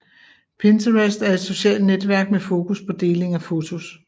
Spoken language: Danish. Pinterest er et socialt netværk med fokus på deling af fotos